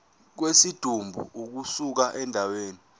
kwesidumbu ukusuka endaweni